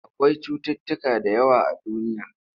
Akwai cutuutuka da yawa a duniya.